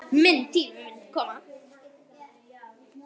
Minn tími mun koma.